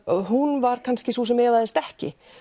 hún var kannski sú sem efaðist ekki